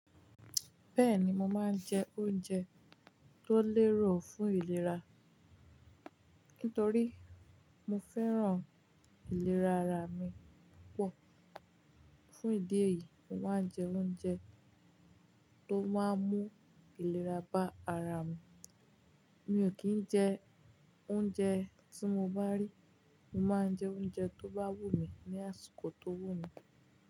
Bẹ́ẹ̀ni, mo máa ń jẹ oúnjẹ tó lérò fún ìlera. Nítorí mo fẹ́ràn ìlera ara mi púpọ̀. Fún ìdí èyí, mo máa ń jẹ oúnjẹ tó máa mú ìlera bá ara mi. Mi ò kì í jẹ oúnjẹ tí mo bá rí, mo máa ń jẹ oúnjẹ tó bá wù mí ní àsìkò tó wù mí.